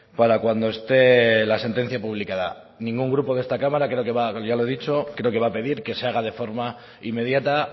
para cuando esté la sentencia publicada ningún grupo de esta cámara creo que va ya lo he dicho creo que va a pedir que se haga de forma inmediata